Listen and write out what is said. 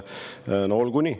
No olgu nii.